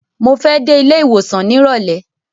Mo fẹ́ dé ilé ìwòsàn nírọ̀lẹ́.